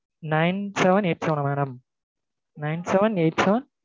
nine seven eight seven ah madam? nine seven eight seven